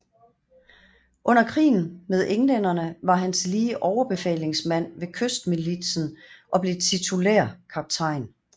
Under krigen med englænderne var han tillige overbefalingsmand ved kystmilitsen og blev titulær kaptajn